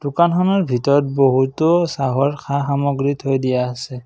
দোকানখনৰ ভিতৰত বহুতো চহৰ সা-সমগ্ৰী থৈ দিয়া আছে।